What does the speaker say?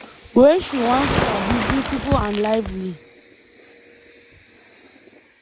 wey she once sabi - “beautiful and lively”.